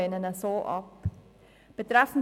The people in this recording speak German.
Wir lehnen ihn ab.